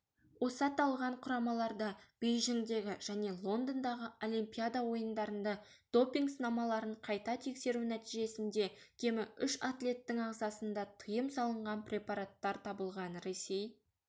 осы аталған құрамаларда бейжіңдегі және лондондағы олимпиада ойындарында допинг-сынамаларын қайта тексеру нәтижесінде кемі үш атлеттің ағзасында тыйым салынған препараттар табылған ресей